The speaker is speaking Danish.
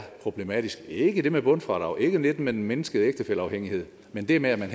problematisk det er ikke det med bundfradraget og ikke det med den mindskede ægtefælleafhængighed men det med at man